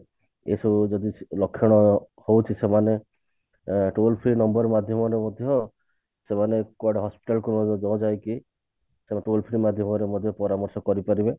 ଏସବୁ ଯଦି ଲକ୍ଷଣ ହଉଛି ସେମାନେ ଅ toll-free number ମାଧ୍ୟମରେ ମଧ୍ୟ ସେମାନେ କୁଆଡେ hospital କୁ ନ ଯାଇକି ସେମାନେ toll free ମାଧ୍ୟମରେ ମଧ୍ୟ ପରାମର୍ଶ କରି ପାରିବେ